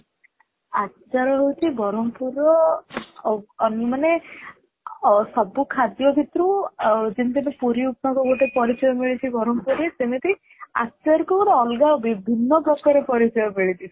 ଆଚାର ହୋଉଛି ବ୍ରହ୍ମପୁର ର ମାନେ ଅ ସବୁ ଖାଦ୍ୟ ଭିତରୁ ଯେମିତି ଏବେ ପୁରୀ ଉପମା କୁ ଗୋଟେ ପରିଚୟ ମିଳିଛି ବ୍ରହ୍ମପୁରରେ ସେମିତି ଆଚାର କୁ ଗୋଟେ ଅଲଗା ବିଭିନ୍ନ ପ୍ରକାର ପରିଚୟ ମିଳିଛି